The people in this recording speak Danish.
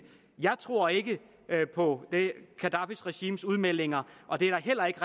jeg tror ikke på gaddafis regimes udmeldinger og det er der heller ikke